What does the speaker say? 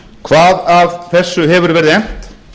hvað af þessu hefur verið efnt